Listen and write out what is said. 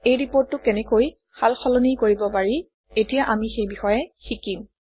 এই ৰিপৰ্টটো কেনেকৈ সাল সলনি কৰিব পাৰি এতিয়া আমি সেই বিষয়ে শিকিম